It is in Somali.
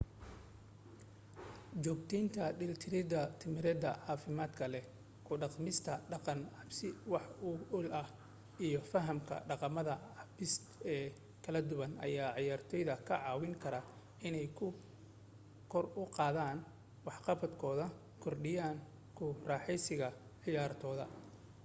joogtaynta dheelitir tamareed caafimaad leh ku dhaqmista dhaqan cabbis wax ku ool ah iyo fahamka dhaqamada kaabiseed ee kala duwan ayaa ciyaartoyda ka caawin kara inay kor u qaadaan waxqabadkooda kordhiyaana ku raaxeysiga ciyaartooda